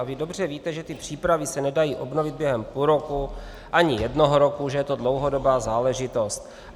A vy dobře víte, že ty přípravy se nedají obnovit během půl roku ani jednoho roku, že je to dlouhodobá záležitost.